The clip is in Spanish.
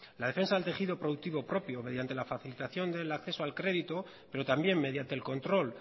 la defensa del tejido productivo propio mediante la facilitación del acceso al crédito pero también mediante el control